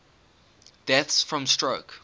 deaths from stroke